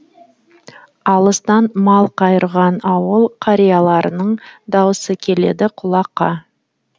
алыстан мал қайырған ауыл қарияларының даусы келеді құлаққа